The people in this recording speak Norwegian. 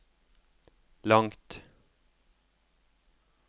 langt